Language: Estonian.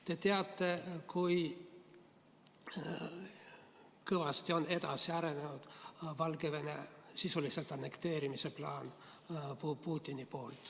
Te teate, kui kõvasti on edasi arenenud Putini plaan Valgevene sisuliselt annekteerida.